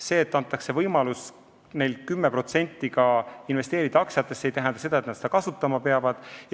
See, et neile antakse võimalus 10% aktsiatesse investeerida, ei tähenda, et nad seda kasutama peavad.